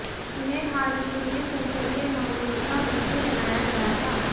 उन्हें हाल ही में संसदीय मामलों का मंत्री बनाया गया था